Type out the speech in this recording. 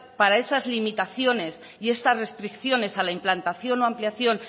para esas limitaciones y estas restricciones a la implantación o ampliación